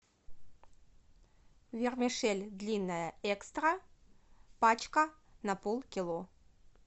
вермишель длинная экстра пачка на полкило